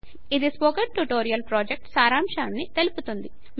ఇది spoken tutorial project సారాంశాన్ని తెలుపుతుంది